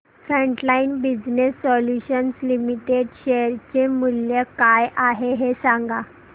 frontline business solutions limited share चे मूल्य काय आहे हे सांगा